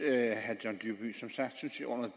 at